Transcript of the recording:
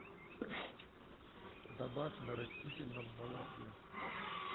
добавь на растительном молоке